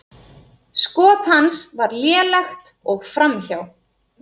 Skot hans var lélegt og framhjá.